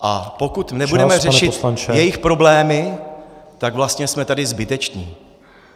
A pokud nebudeme řešit jejich problémy , tak vlastně jsme tady zbyteční.